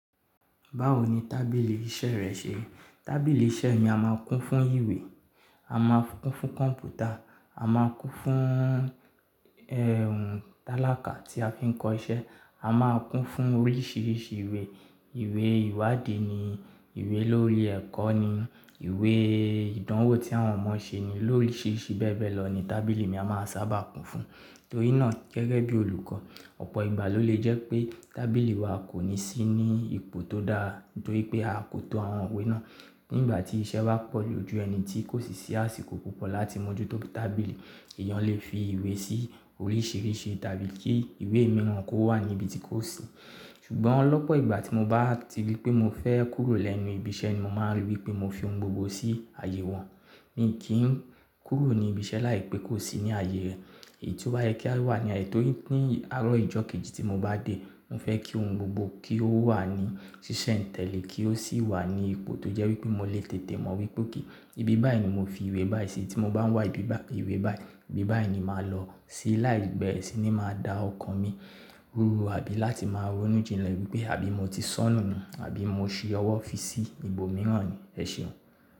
Báwo ni tábìlì iṣẹ́ rẹ ṣe? Tábìlì iṣẹ́ ni a máa ń kún fún ìwé, a máa ń kún fún kọ̀m̀pútà, a máa ń kún fún ẹ́hùn tálákà tí a fi ń kọ iṣẹ́, a máa ń kún fún oríṣiríṣi ìwé, ìwé ìwádìí ni, ìwé lórí ẹ̀kọ́ ni, ìwé ìdánwò tí àwọn ọmọ ṣe ni, lóríṣiríṣi bẹ́ẹ̀ bẹ́ẹ̀ lọ ni tábìlì ni a máa ń sábà kún fún. Torí náà gẹ́gẹ́ bí olùkọ́, ọ̀pọ̀ ìgbà ló lè jẹ́ pé tábìlì wa kò ní sí ní ipò tó dáa torí pé a kò to àwọn ìwé náà. Nígbà tí iṣẹ́ bá pọ̀ lójú ẹni tí kò sì sí àsìkò púpọ̀ láti mójútó bí tábìlì èèyàn lè fi ìwé sí oríṣiríṣi tábí kí ìwé mìíràn kó wà níbi tí kò sí. Ṣùgbọ́n lọ́pọ̀ ìgbà tí mo bá ti rí pé mo fẹ́ kúrò lẹ́nu ibi iṣẹ́ ni mo máa rí wí pé mo fi ohun gbogbo sí àyè wọn. Mi kì í kúrò ní ibi iṣẹ́ láìpẹ́ kó sì ní àyè rẹ. Èyí tó bá yẹ kí á wà ní àyè torí pé ní àárọ̀ ìjọ kejì tí mo bá dé, mo fẹ́ kí ohun gbogbo kí ó wà ní ṣíṣe ntẹ̀lé kí ó sì wà ní ipò tó jẹ́ wí pé mo lè tètè mọ̀ wípé kí ibi báyìí ni mo fi ìwé báyìí sí tí mo bá ń wá ibi báyìí ìwé báyìí. Ibi báyìí ni màá lọ sí láì beere sì ni màá dá ọkàn mi rú àbí láti máa ronú jinlẹ̀ wípé àbí mo ti sánùú àbí mo ṣi ọwọ́ fi sí ibòmíràn ni. Ẹ ṣeun.